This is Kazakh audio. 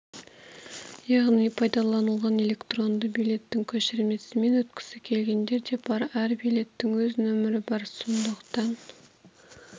яғни пайдаланылған электронды билеттің көшірмесімен өткісі келгендер де бар әр билеттің өз нөмірі бар сондықтан